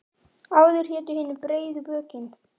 Áður hétu hinir breiðu bökin.